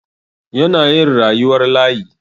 Yana yin rayuwar layi.